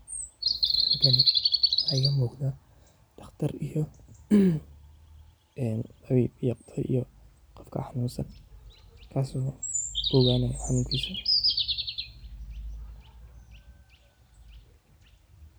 Halkani waxa iigamuuqado daqtar iiyo qoofka xanunsan kaasoo kuoganayo xanunkiisa .